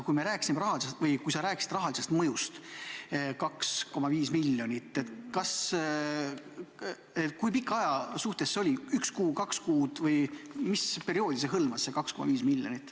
Kui sa rääkisid rahalisest mõjust 2,5 miljonit, siis kui pika aja peale see oli: üks kuu, kaks kuud või mis perioodi silmas on peetud?